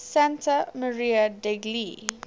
santa maria degli